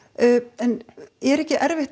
en er ekki erfitt